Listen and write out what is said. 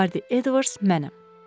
Bardi Edvards mənəm.